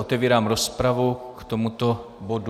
Otevírám rozpravu k tomuto bodu.